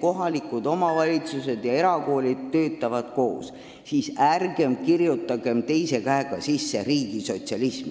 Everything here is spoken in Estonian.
kohalikud omavalitsused ja erakoolid töötavad koos, siis ärgem kirjutagem teise käega sinna sisse riigisotsialismi.